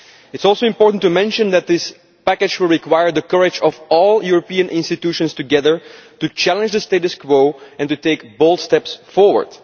It is also important to mention that this package will require courage on the part of all the European institutions together to challenge the status quo and to take bold steps forward.